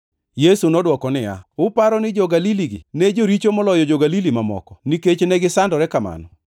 Yesu nodwoko niya, “Uparo ni jo-Galili-gi ne joricho moloyo jo-Galili mamoko nikech negisandore kamano?